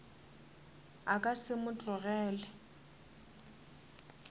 a ka se mo tlogele